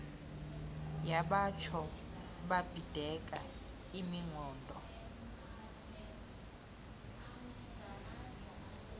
yabatsho babhideka imiqondo